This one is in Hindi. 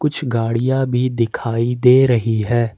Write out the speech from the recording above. कुछ गाड़ियां भी दिखाई दे रही है।